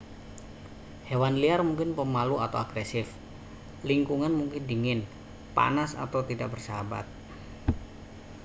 hewan liar mungkin pemalu atau agresif lingkungan mungkin dingin panas atau tidak bersahabat